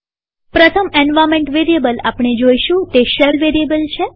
પ્રથમ environment variable આપણે જોઈશું તે શેલ વેરીએબલ છે